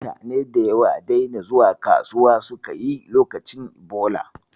Mutane da yawa daina zuwa kasuwa suka yi lokacin Ebola.